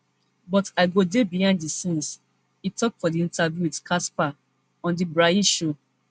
but i go dey behind di scenes e tok for di interview wit cassper on di braai show